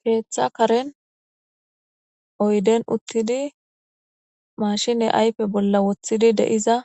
Keeththa karen oyden uttidi mashine aype bolla woththidi deiza